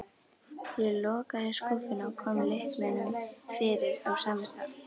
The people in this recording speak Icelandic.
Ég lokaði skúffunni og kom lyklinum fyrir á sama stað.